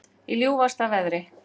Í ljúfasta veðri